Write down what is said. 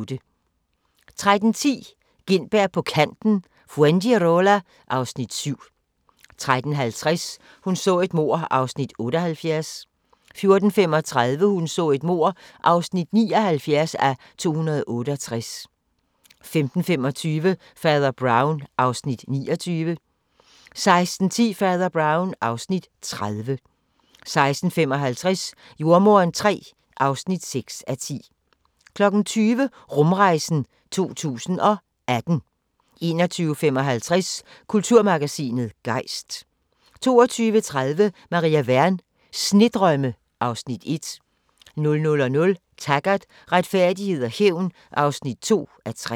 13:10: Gintberg på Kanten – Fuengirola (Afs. 7) 13:50: Hun så et mord (78:268) 14:35: Hun så et mord (79:268) 15:25: Fader Brown (Afs. 29) 16:10: Fader Brown (Afs. 30) 16:55: Jordemoderen III (6:10) 20:00: Rumrejsen 2018 21:55: Kulturmagasinet Gejst 22:30: Maria Wern: Snedrømme (Afs. 1) 00:00: Taggart: Retfærdighed og hævn (2:3)